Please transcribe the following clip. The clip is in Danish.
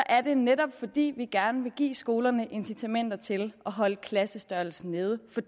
er det netop fordi vi gerne vil give skolerne incitamenter til at holde klassestørrelsen nede for